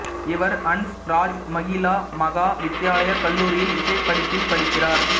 இவர் ஹன்ஸ் ராஜ் மஹிளா மஹா வித்யாலயா கல்லூரியில் இசை படிப்பில் படிக்கிறார்